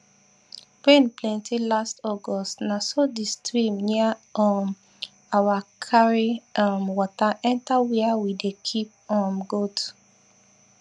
rain plenty last august na so the stream near um our carry um water enter where we dey keep um goat